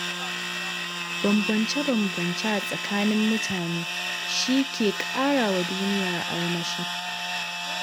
Bambance-bambance a tsakanin mutane shi ke ƙara wa duniya armashi.